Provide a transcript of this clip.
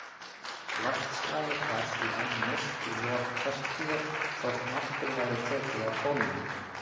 Loftslagið var því enn milt í lok tertíer þótt nokkuð væri tekið að kólna.